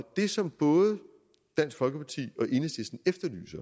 det som både dansk folkeparti